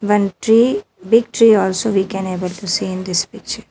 One tree big tree also we can able to see in this picture.